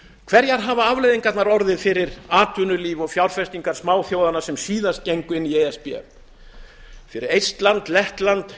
hverjar hafa afleiðingarnar orðið fyrir atvinnulíf og fjárfestingar smáþjóðanna sem síðast gengu inn í e s b fyrir eistland lettland